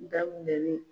Daminɛ ni